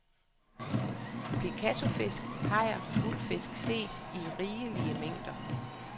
Picassofisk, hajer og guldfisk ses i rigelige mængder.